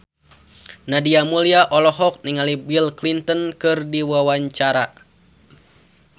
Nadia Mulya olohok ningali Bill Clinton keur diwawancara